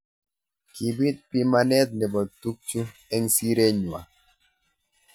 Kipit bimanet nebo tukju eng siret nywa.